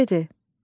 Nə dedi?